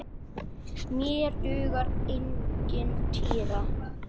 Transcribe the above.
Mér dugar engin týra!